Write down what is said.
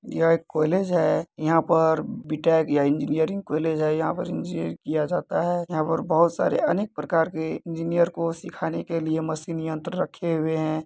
यह एक कॉलेज है यहाँ पर बी-टेक या इंजीनियरिंग कॉलेज है यहाँ पर इंजीनियरिंग किया जाता है .यहाँ पर बहुत सारे अनेक प्रकार के इंजीनियर को सिखाने के लिए मशीन यन्त्र रखे हुए है।